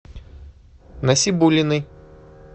насибуллиной